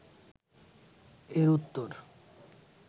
এর উত্তর